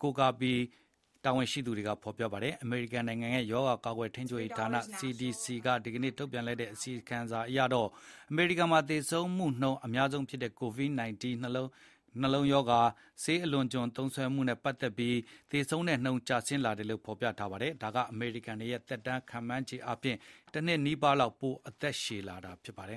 ဖော်ပြနေပါတယ်။ အမေရိကန်နိုင်ငံရဲ့ ရောဂါကာကွယ်ထိန်းချုပ်ဌာန (CDC) က ဒီနေ့ ထုတ်ပြန်လိုက်တဲ့ အစီရင်ခံစာ အရတော့ အမေရိကန်မှာ သေဆုံးမှုနှုန်းအများဆုံးဖြစ်တဲ့ ကိုဗစ် ၁၉ ၊ နှလုံးရောဂါနဲ့ ဆေးအလွန်အကျွံ သုံးစွဲမှုတွေနဲ့ပတ်သက်ပြီး သေဆုံးနှုန်း ကျဆင်းလာတယ်လို့ ဖော်ပြပါတယ်။ ဒါက အမေရိကန်တွေရဲ့ သက်တမ်းဟာ ခန့်မှန်းခြေအားဖြင့် တနှစ်နီးပါးလောက် ပိုအသက်ရှည်လာတာဖြစ်ပါတယ်